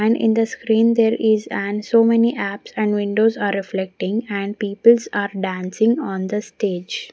and in the screen there is an so many apps and windows are reflecting and peoples are dancing on the stage.